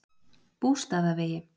Bústaðavegi